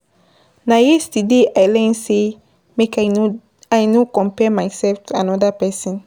Na yesterday I learn sey make I no compare mysef to anoda pesin.